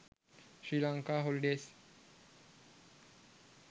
srilanka holidays